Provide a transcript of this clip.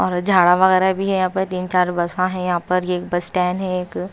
झाड़ा वगैरह भी है यहाँ पर तीन चार बसा है यहाँ पर ये बस स्टैंड है एक--